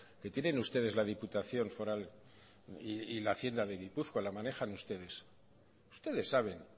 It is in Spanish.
que tienen ustedes la diputación foral y la hacienda de gipuzkoa la manejan ustedes ustedes saben